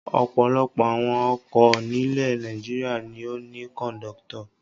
Ọ̀pọ̀lọpọ̀ awọn ọkọ̀ nílẹ̀ Nàìjíríà ni ó ní kọ̀ńdọ́tọ̀.